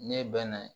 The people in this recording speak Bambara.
Ne bɛ na